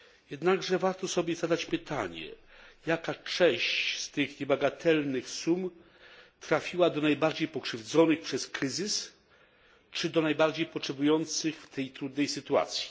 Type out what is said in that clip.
Jednakże warto sobie zadać pytanie, jaka część z tych niebagatelnych sum trafiła do najbardziej pokrzywdzonych przez kryzys czy do najbardziej potrzebujących w tej trudnej sytuacji.